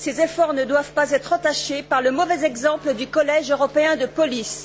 Ces efforts ne doivent pas être entachés par le mauvais exemple du Collège européen de police.